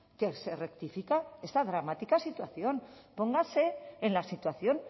que se rectifica esta dramática situación póngase en la situación